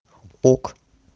ок